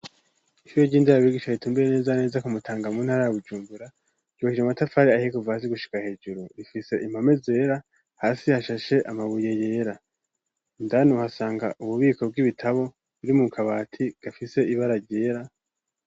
Ishure ry'indirarrigisha ritumbiye neza neza kumutanga munt ari agujumbura yubaheje amatapfari ahekuva hasi gushika hejuru rifise impame zera hasi hashashe amabuye yera ndan hasanga ububiko bw'ibitabo buri mu kabati gafise ibara ryera.